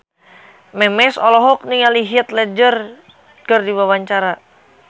Memes olohok ningali Heath Ledger keur diwawancara